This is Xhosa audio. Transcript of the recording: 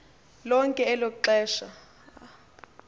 lonke elo xesha